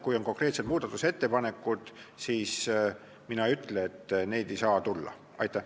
Kui on konkreetsed muudatusettepanekud, siis mina ei ütle, et neid ei saa tulla.